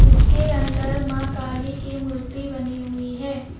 इसके अंदर मां काली की मूर्ति बनी हुई है।